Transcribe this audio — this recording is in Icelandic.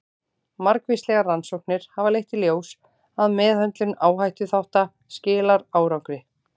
Margvíslegar rannsóknir hafa leitt í ljós að meðhöndlun áhættuþátta skilar árangri.